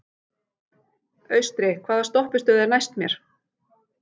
Austri, hvaða stoppistöð er næst mér?